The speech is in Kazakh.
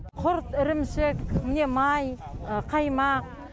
құрт ірімшік міне май қаймақ